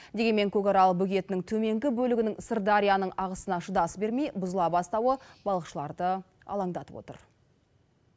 дегенмен көкарал бөгетінің төменгі бөлігінің сырдарияның ағысына шыдас бермей бұзыла бастауы балықшыларды алаңдатып отыр